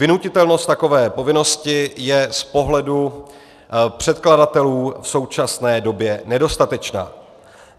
Vynutitelnost takové povinnosti je z pohledu předkladatelů v současné době nedostatečná.